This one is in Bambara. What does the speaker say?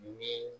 Ni